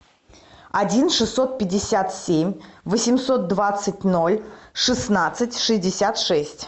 один шестьсот пятьдесят семь восемьсот двадцать ноль шестнадцать шестьдесят шесть